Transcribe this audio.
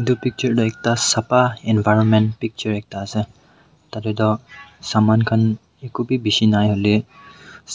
itu picture tuh ekta sapha environment picture ekta ase tatey toh saman kan eko bishi nai